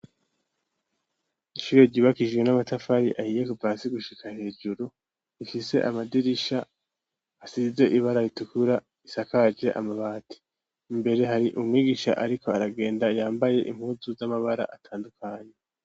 Ishure ryubakishijwe n'amatafari ahiye kuva hasi gushika hejuru, rifise amadirisha asize ibara ritukura isakaje amabati, imbere hari umwugisha ariko aragenda yambaye impuzu z'amabara atandukanye.